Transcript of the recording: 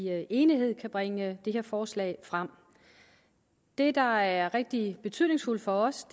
enighed kan bringe det her forslag frem det der er rigtig betydningsfuldt for os